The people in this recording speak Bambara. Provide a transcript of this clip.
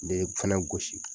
N'i ye fɛnɛ gosi